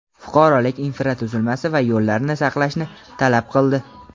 fuqarolik infratuzilmasi va yo‘llarni saqlashni talab qildi.